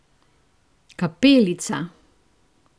Kapelica!